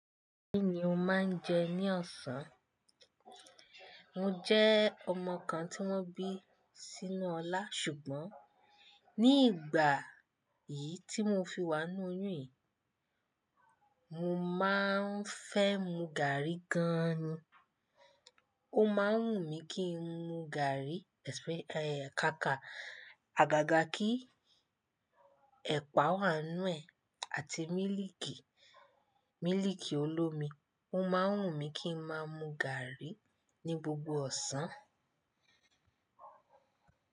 Kí ni o máa ń jẹ ní ọ̀sán? Mo jẹ́ ọmọ kan tí wọ́n bí sínú Ọlá, ṣùgbọ́n ní ìgbà yìí tí mo fi wà nínú oyún yìí, mo máa ń fẹ́ mu gàrí gan ni. Ó máa ń wù mí kí n mu gàrí, ẹ́, kaka, àgàgà kí ẹ̀pà wà nínú ẹ̀, àti mílíìkì, mílíìkì olómi. Ó máa ń wùn mí kí ń máa mu gàrí ní gbogbo ọ̀sán.